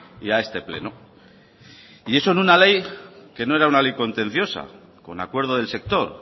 y a este pleno y eso en una ley que no era una ley contenciosa con acuerdo del sector